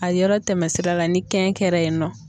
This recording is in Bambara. A yɔrɔ tɛmɛ sira la ni kɛn kɛra yen nɔ.